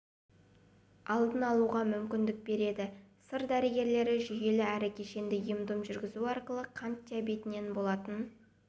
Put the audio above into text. алдын алуға мүмкіндік береді сыр дәрігерлері жүйелі әрі кешенді ем-дом жүргізу арқылы қант диабетінен болатын